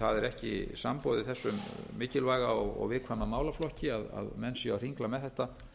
það er ekki samboðið þessum mikilvæga og viðkvæma málaflokki að menn séu að hringla með þetta